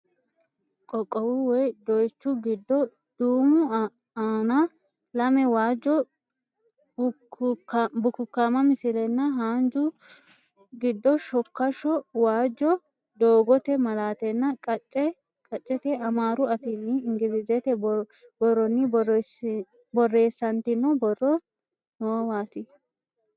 Qoqqowu woy doyichu giddo duumu aana lame waajjo bukukkaama misilenna haanju giddo shokkasho waajjo doogote maalatenna qacce qaccete amaaru afiinninna ingilizete borronni borreessantino borro noowaati.